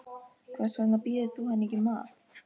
Hvers vegna býður þú henni ekki í mat.